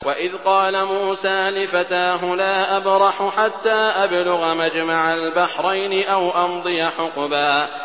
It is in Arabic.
وَإِذْ قَالَ مُوسَىٰ لِفَتَاهُ لَا أَبْرَحُ حَتَّىٰ أَبْلُغَ مَجْمَعَ الْبَحْرَيْنِ أَوْ أَمْضِيَ حُقُبًا